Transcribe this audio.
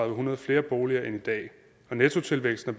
hundrede flere boliger end i dag og nettotilvæksten